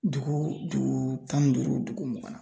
Dugu du tan ni duuru dugu mugan.